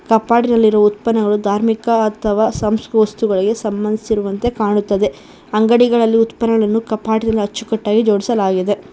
ಕಫಾಟಿನಲ್ಲಿರು ಉತ್ಪನ್ನಗಳು ಧಾರ್ಮಿಕ ಅಥವಾ ಸಂಸ ವಸ್ತುಗಳಿಗೆ ಸಂಭಂಧಿಸಿರುವಂತೆ ಕಾಣುತ್ತದೆ ಅಂಗಡಿಗಳಲ್ಲಿ ಉತ್ಪನ್ನಗಳನ್ನು ಕಫಾಟಿನಲ್ಲಿ ಅಚ್ಚುಕಟ್ಟಾಗಿ ಜೋಡಿಸಲಾಗಿದೆ.